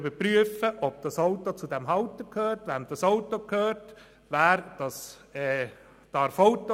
Sie überprüft etwa, wem ein Auto gehört, und ob der Fahrer fahren darf.